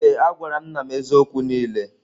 Ee a gwara m nna m eziokwu niile.